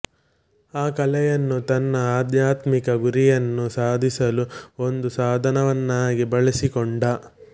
ಆ ಕಲೆಯನ್ನು ತನ್ನ ಆಧ್ಯಾತ್ಮಿಕ ಗುರಿಯನ್ನು ಸಾಧಿಸಲು ಒಂದು ಸಾಧನವನ್ನಾಗಿ ಬಳಸಿಕೊಂಡ